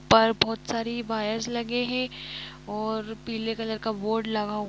पर बहुत सारी वायर्स लगे है और पीले कलर का बोर्ड लगा --